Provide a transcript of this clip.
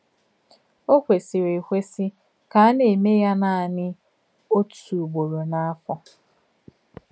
Ọ̀ kwèsìrì èkwèsì kà á nà-èmè yà nánị̀ òtú ùgbòrò n’áfọ̀.